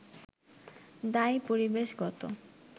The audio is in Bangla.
দায়ী পরিবেশগত